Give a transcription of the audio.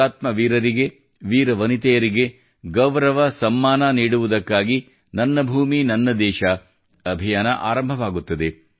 ಹುತಾತ್ಮ ವೀರರಿಗೆವೀರ ವನಿಯೆತರಿಗೆ ಗೌರವ ಸಮ್ಮಾನ ನೀಡುವುದಕ್ಕಾಗಿ ನನ್ನ ಭೂಮಿ ನನ್ನ ದೇಶ ಅಭಿಯಾನ ಆರಂಭವಾಗುತ್ತದೆ